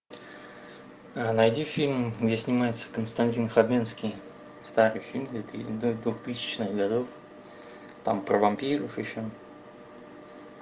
найди фильм где снимается константин хабенский старый фильм двухтысячных годов там про вампиров еще